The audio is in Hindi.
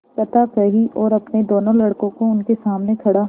कथा कही और अपने दोनों लड़कों को उनके सामने खड़ा